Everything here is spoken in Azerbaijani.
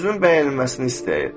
Özünün bəyənilməsini istəyir.